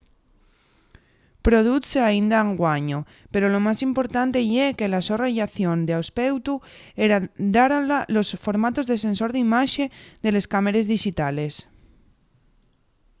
produzse aínda anguaño pero lo más importante ye que la so rellación d'aspeutu heredáronla los formatos de sensor d’imaxe de les cámares dixitales